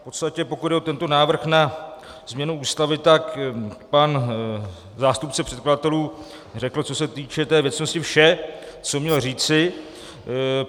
V podstatě pokud jde o tento návrh na změnu Ústavy, tak pan zástupce předkladatelů řekl, co se týče té věcnosti, vše, co měl říci.